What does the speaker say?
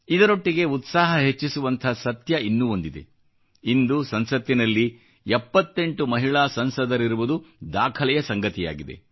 ಇದರೊಟ್ಟಿಗೆ ಉತ್ಸಾಹ ಹೆಚ್ಚಿಸುವಂಥ ಸತ್ಯ ಇನ್ನೂ ಒಂದಿದೆ ಇಂದು ಸಂಸತ್ತಿನಲ್ಲಿ 78 ಮಹಿಳಾ ಸಂಸದರಿರುವುದು ದಾಖಲೆಯ ಸಂಗತಿಯಾಗಿದೆ